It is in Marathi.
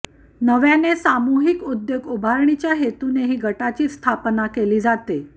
नव्याने सामुहिक उद्योग उभारणीच्या हेतूनेही गटाची स्थापना केली जाते